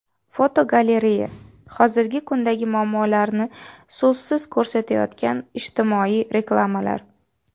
Fotogalereya: Hozirgi kundagi muammolarni so‘zsiz ko‘rsatayotgan ijtimoiy reklamalar.